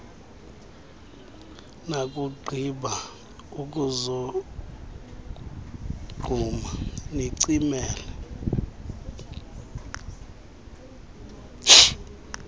nakugqiba ukuzogquma nicimele